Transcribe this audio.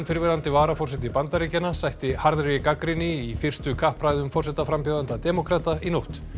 fyrrverandi varaforseti Bandaríkjanna sætti harðri gagnrýni í fyrstu kappræðum forsetaframbjóðenda demókrata í nótt